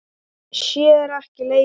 Sér ekki leik minn.